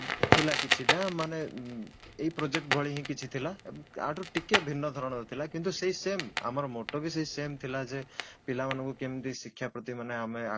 ଥିଲା କିଛିଟା ମାନେ ଏହି project ଭଳି ହିଁ କିଛି ଥିଲା ୟାଠାରୁ ଟିକେ ଭିନ୍ନ ଧରଣର ଥିଲା କିନ୍ତୁ ସେଇ same ଆମର moto ବି ସେଇ same ଥିଲା ଯେ ପିଲା ମାନଙ୍କୁ କେମିତି ଶିକ୍ଷା ପ୍ରତି ମାନେ ଆମେ